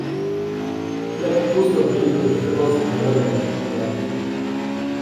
Le popustov pri njihovih trgovcih ne moremo pričakovati.